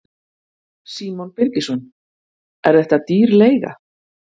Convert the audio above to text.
Símon Birgisson: Er þetta dýr leiga?